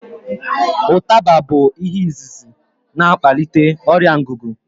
Ụtaba bụ ihe izizi na akpalite ọrịa ngugu